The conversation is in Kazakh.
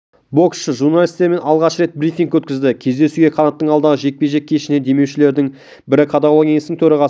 боксшы журналистермен алғаш рет брифинг өткізді кездесуге қанаттың алдағы жекпе-жек кешіне демеушілердің бірі қадағалау кеңесінің төрағасы